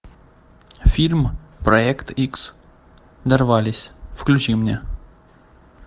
фильм проект икс дорвались включи мне